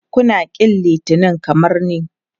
Kuna ƙin Litinin kamar ni?